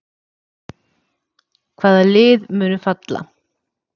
Hvaða lið munu falla?